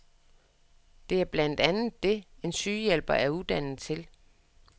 Det er blandt andet det, en sygehjælper er uddannet til.